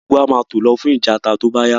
Gbogbo wa máa tó lọ fún ìtajà tó bá yá